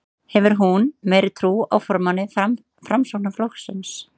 Hefur hún meiri trú á formanni Framsóknarflokksins?